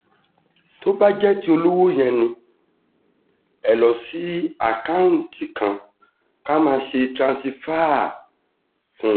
tó bá jẹ́ ti olówó yẹ ni ẹ lọ́ọ́ sí àkáùntì ká máa ṣe tiranṣàìfà fún yín